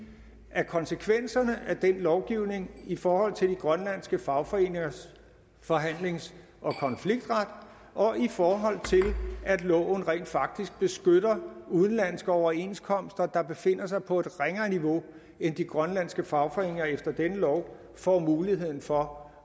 er konsekvenserne af denne lovgivning i forhold til de grønlandske fagforeningers forhandlings og konfliktret og i forhold til at loven rent faktisk beskytter udenlandske overenskomster der befinder sig på et ringere niveau end de grønlandske fagforeninger efter denne lov får muligheden for